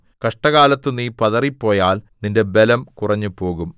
കഷ്ടകാലത്ത് നീ പതറിപ്പോയാൽ നിന്റെ ബലം കുറഞ്ഞുപോകും